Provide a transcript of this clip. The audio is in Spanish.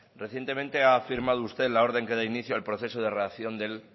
recientemente ha firmado usted la orden que da inicio al proceso de relación del